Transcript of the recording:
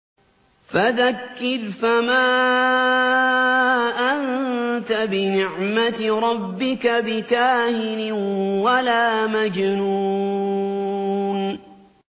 فَذَكِّرْ فَمَا أَنتَ بِنِعْمَتِ رَبِّكَ بِكَاهِنٍ وَلَا مَجْنُونٍ